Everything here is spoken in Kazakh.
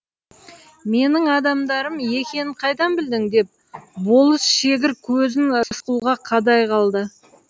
менің адамдарым екенін қайдан білдің деп болыс шегір көзін рысқұлға қадай қалды